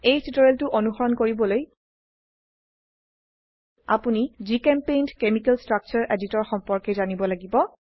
এই টিউটোৰিয়ালটো অনুসৰণ কৰিবলৈ আপোনি জিচেম্পেইণ্ট কেমিকেল স্ট্ৰাকচাৰ এডিটৰ সম্পৰ্কে জানিব লাগিব